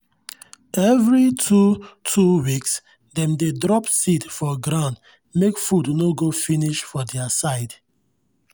every two-two weeks dem dey drop seed for ground make food no go finish for their side.